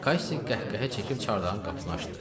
Kaşşi qəhqəhə çəkib çardağın qapısını açdı.